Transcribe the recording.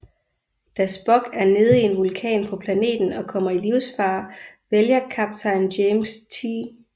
Da Spock er nede i en vulkan på planeten og kommer i livsfare vælger kaptajn James T